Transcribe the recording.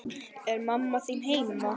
Er mamma þín heima?